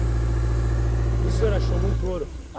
quarenta por E o senhor achou muito ouro?